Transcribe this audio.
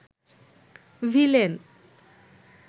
villain